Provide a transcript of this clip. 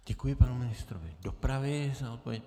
Děkuji panu ministrovi dopravy za odpověď.